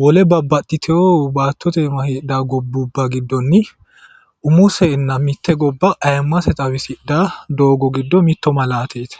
wole babbaxitewo baattote iima heedhawo gobbuba giddonni umosenna mite gobba ayimmase xawisidhayo doogo giddo mitto malaateti